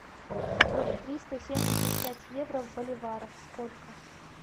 триста семьдесят пять евро в боливарах сколько